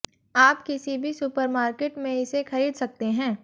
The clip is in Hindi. आप किसी भी सुपरमार्केट में इसे खरीद सकते हैं